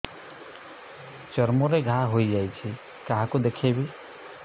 ଚର୍ମ ରେ ଘା ହୋଇଯାଇଛି କାହାକୁ ଦେଖେଇବି